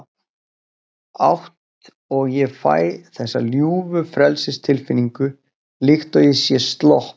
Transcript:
átt og ég fæ þessa ljúfu frelsistilfinningu, líkt og ég sé slopp